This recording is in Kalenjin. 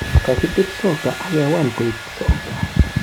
Kokibir soccer ak ke wol koek soka